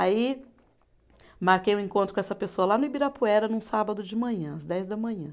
Aí, marquei um encontro com essa pessoa lá no Ibirapuera, num sábado de manhã, às dez da manhã.